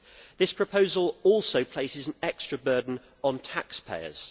This proposal also places an extra burden on taxpayers.